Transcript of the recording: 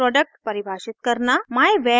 एक class product परिभाषित करना